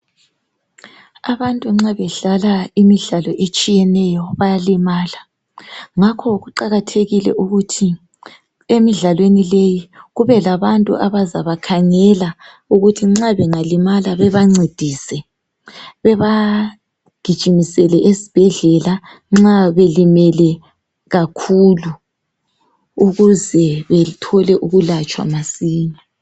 Abantu nxa bedlala imidlalo etshiyeneyo bayalimala ngakho kuqakathekile ukuthi emidlalweni leyi kube labantu abazabakhangela ukuthi nxa bengalimala bebancedise bebagijimisele esibhedlela nxa belimele kakhulu ukuze bethole ukulatshwa masinya.